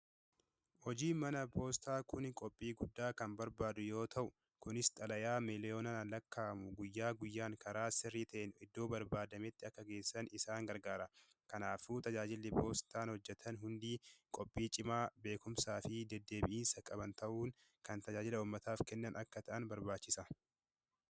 Hojiin manaa poostaa kun qophii guddaa kan barbaadu yoo ta'u, kunis xalayaa miliyoonaan lakkaa'amu guyyaa guyyaan karaa sirrii ta'een iddoo barbaadametti akka geessan isaan gargaara. Kanaafuu tajaajilli poostaan hojjetan hundi qophii cimaa, beekumsaa fi deddeebi'iinsa qaban ta'uun kan tajaajila uummataaf kennan akka ta'an barbaachisa.